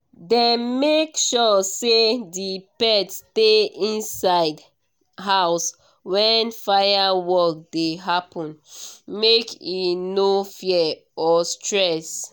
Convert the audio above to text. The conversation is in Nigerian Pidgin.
dem make sure say the pet stay inside house when firework dey happen make e no fear or stress